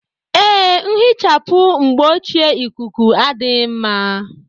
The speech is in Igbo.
Ee, nhichapụ mgbochieikuku adịghị mma.